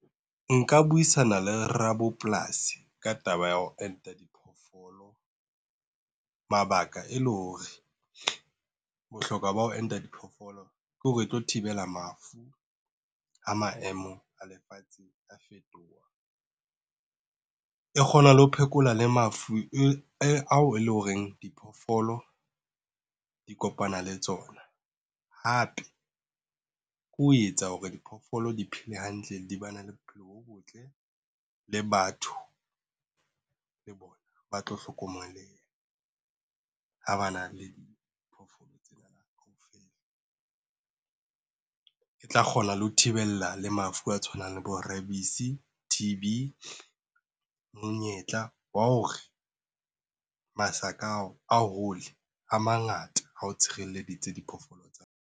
Nka buisana le ra bopolasi ka taba ya ho enta diphoofolo, mabaka e le hore bohlokwa ba ho enta diphoofolo ke hore e tlo thibela mafu ha maemo a lefatshe a fetoha, e kgona le ho phekola le mafu ao e leng ho reng diphoofolo di kopana le tsona. Hape ke ho etsa hore diphoofolo di phele hantle, di ba na le bophelo bo botle le batho le bona ba tlo hlokomeleha. Ha ba na le diphoofolo tsena kaofela e tla kgona le ho thibela le mafu a tshwanang le bo-rabies, T_B. Monyetla wa ho re masaka ao a hole a mangata ha o tshireleditse diphoofolo tsa hao.